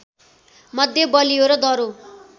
मध्ये बलियो र दह्रो